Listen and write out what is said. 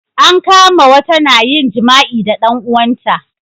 an kama wata na yin jima'i da dan uwan ta